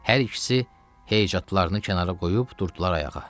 Hər ikisi heycatlarını kənara qoyub durdular ayağa.